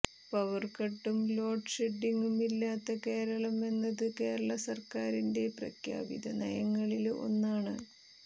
power കട്ടും load ഷെഡ്ഡിംഗും ഇല്ലാത്ത കേരളം എന്നത് കേരള സര്ക്കാരിന്റെ പ്രഖ്യാപിത നയങ്ങളില് ഒന്നാണ്